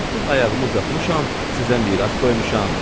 Artıq ayağımı uzatmışam, sizə miras qoymuşam.